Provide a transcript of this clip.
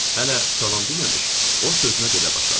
Hələ salam deməmiş o sözünə belə başladı.